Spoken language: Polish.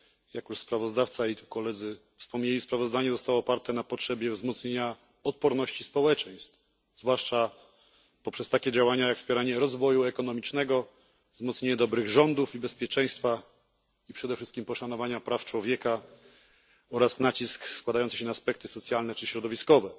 Jak już sprawozdawca i koledzy wspomnieli, sprawozdanie zostało oparte na potrzebie wzmocnienia odporności społeczeństw, zwłaszcza poprzez takie działania jak wspieranie rozwoju ekonomicznego, wzmocnienie dobrych rządów i bezpieczeństwa, i przede wszystkim poszanowania praw człowieka oraz nacisk na aspekty socjalne oraz środowiskowe.